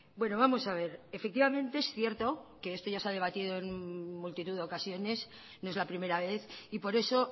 bueno vamos a ver efectivamente es cierto que esto ya se ha debatido en multitud de ocasiones no es la primera vez y por eso